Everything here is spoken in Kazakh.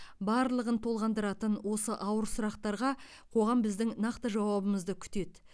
барлығын толғандыратын осы ауыр сұрақтарға қоғам біздің нақты жауабымызды күтеді